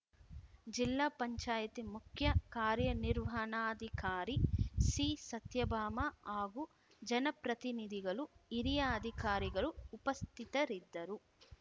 ಜಿಲ್ಲಾ ಪಂಚಾಯತಿ ಮುಖ್ಯ ಕಾರ್ಯನಿರ್ವಹಣಾಧಿಕಾರಿ ಸಿ ಸತ್ಯಭಾಮ ಹಾಗೂ ಜನಪ್ರತಿನಿಧಿಗಳು ಹಿರಿಯ ಅಧಿಕಾರಿಗಳು ಉಪಸ್ಥಿತರಿದ್ದರು